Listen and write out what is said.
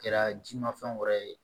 Kɛra ji ma fɛn wɛrɛ ye